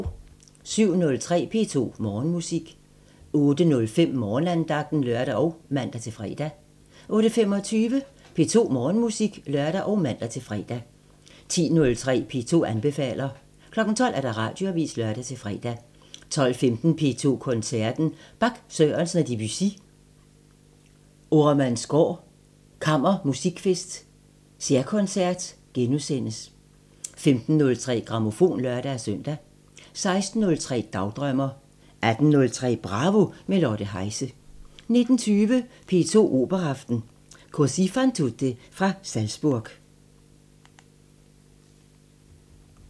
07:03: P2 Morgenmusik 08:05: Morgenandagten (lør og man-fre) 08:25: P2 Morgenmusik (lør og man-fre) 10:03: P2 anbefaler 12:00: Radioavisen (lør-fre) 12:15: P2 Koncerten – Bach, Sørensen og Debussy – Oremandsgaard Kammermusikfest særkoncert * 15:03: Grammofon (lør-søn) 16:03: Dagdrømmer 18:03: Bravo – med Lotte Heise 19:20: P2 Operaaften – Cosi fan tutte fra Salzburg